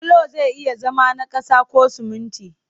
Bulo zai iya zama na ƙasa ko sumunti